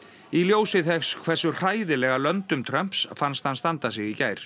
í ljósi þess hversu hræðilega löndum Trumps fannst hann standa sig í gær